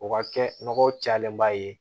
O ka kɛ nɔgɔ cayalen ba ye